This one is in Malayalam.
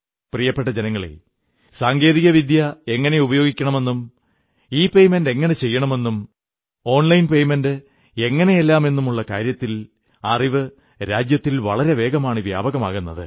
പ്രിയപ്പെട്ട ജനങ്ങളേ സാങ്കേതികവിദ്യ എങ്ങനെ ഉപയോഗിക്കണമെന്നും ഇപേയ്മെന്റ് എങ്ങനെ ചെയ്യണമെന്നും ഓൺലൈൻ പേയ്മെന്റ് എങ്ങനെയെന്നുമെല്ലാമുള്ള കാര്യത്തിൽ അറിവ് രാജ്യത്തിൽ വളരെവേഗമാണ് വ്യാപകമാകുന്നത്